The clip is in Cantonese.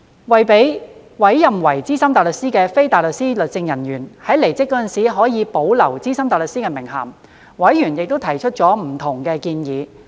為讓被委任為資深大律師的非大律師律政人員在離職時可保留資深大律師名銜，委員提出了不同的建議。